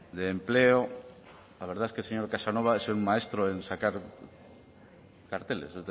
de empleo la verdad es que el señor casanova ha sido un maestro en sacar carteles